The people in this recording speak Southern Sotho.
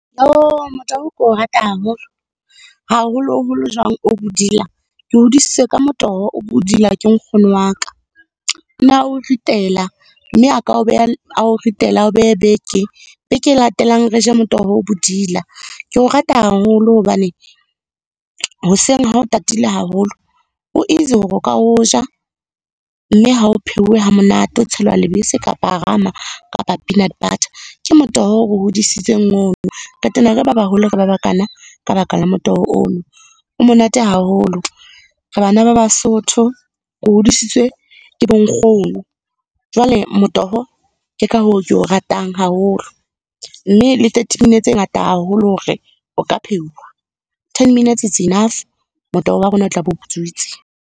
Motoho ke o rata haholo. Haholoholo jwang o bodila, ke hodisitswe ka motoho o bodila ke nkgono wa ka. O na o ritela mme a ka o beha a o ritela a o behe beke. Beke e latelang re je motoho o bodila. Ke o rata haholo hobane hoseng ha o tatile haholo, o easy hore o ka o ja, mme ha o pheuwe ha monate, o tshelwa lebese kapa rama kapa peanut butter. Ke motoho o re hodisitseng ono, re tena re ba baholo re ba ba kana ka baka la motoho ono. O monate haholo, re bana ba Basotho, re hodisitswe ke bo nkgono. Jwale motoho ke ka hoo ke o ratang haholo, mme le thirty minutes e ngata haholo hore o ka pheuwa. Ten minutes it's enough, motoho wa rona o tla be o butswitse.